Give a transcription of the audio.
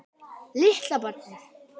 Litla barnið.